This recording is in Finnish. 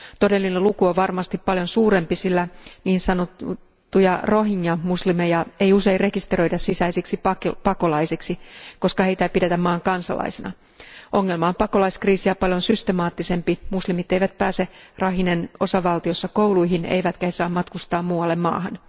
Todellinen luku on varmasti paljon suurempi, sillä niin sanottuja rohingya muslimeja ei usein rekisteröidä sisäisiksi pakolaisiksi, koska heitä ei pidetä maan kansalaisina. Ongelma on pakolaiskriisiä paljon systemaattisempi, sillä muslimit eivät pääse Rakhinen osavaltiossa kouluihin eivätkä he saa matkustaa muualle maahan.